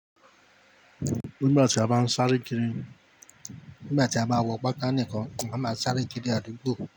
Nígbà tí a bá ń sáré kiri, nígbà tí a bá wọ pàtà nìkan, a máa sáré kiri adúgbò.